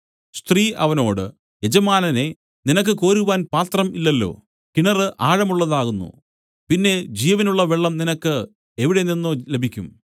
സ്ത്രീ അവനോട് യജമാനനേ നിനക്ക് കോരുവാൻ പാത്രം ഇല്ലല്ലോ കിണറ് ആഴമുള്ളതാകുന്നു പിന്നെ ജീവനുള്ള വെള്ളം നിനക്ക് എവിടെ നിന്നു ലഭിക്കും